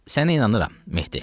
Sənə inanıram, Mehdi.